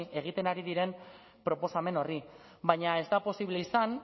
egiten ari diren proposamen horri baina ez da posible izan